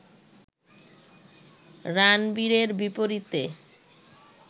রানবিরের বিপরীতে